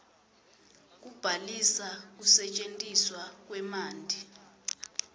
kubhalisa kusetjentiswa kwemanti